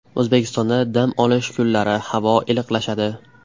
O‘zbekistonda dam olish kunlari havo iliqlashadi.